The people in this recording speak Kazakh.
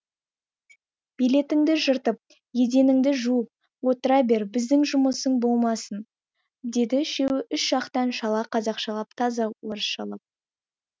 билетіңді жыртып еденіңді жуып отыра бер бізде жұмысың болмасын деді үшеуі үш жақтан шала қазақшалап таза орысшалап